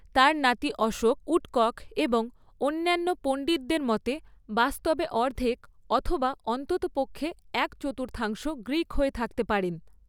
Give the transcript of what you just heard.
তাঁর নাতি অশোক, উডকক এবং অন্যান্য পণ্ডিতদের মতে, 'বাস্তবে অর্ধেক অথবা অন্ততপক্ষে এক চতুর্থাংশ গ্রীক হয়ে থাকতে পারেন।